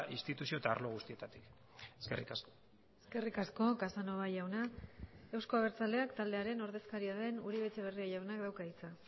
instituzio eta arlo guztietatik eskerrik asko eskerrik asko casanova jauna euzko abertzaleak taldearen ordezkaria den uribe etxebarria jaunak dauka hitza